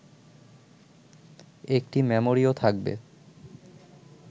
একটি মেমোরিও থাকবে